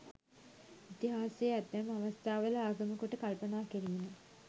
ඉතිහාසය ඇතැම් අවස්ථාවල ආගම කොට කල්පනා කිරීම